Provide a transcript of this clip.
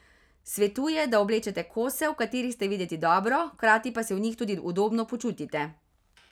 Svetuje, da oblečete kose, v katerih ste videti dobro, hkrati pa se v njih tudi udobno počutite.